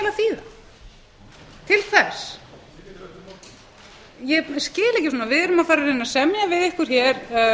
til hvers ég skil ekki svona við erum að fara að reyna að semja við ykkur hér